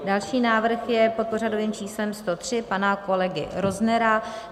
Další návrh je pod pořadovým číslem 103 pana kolegy Roznera.